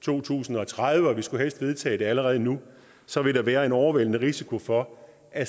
to tusind og tredive og vi skulle helst vedtage det allerede nu så ville der være overvældende risiko for at